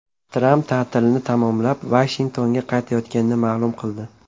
Tramp ta’tilini tamomlab, Vashingtonga qaytayotganini ma’lum qildi.